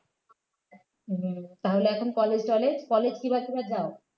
হম তাহলে এখন college college college কি বার কি বার যাও